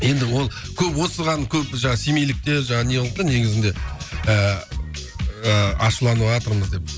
енді ол көп осыған көп семейліктер неғылыпты негізінде ыыы ашуланыватырмыз деп